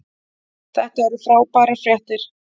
Þetta eru frábærar fréttir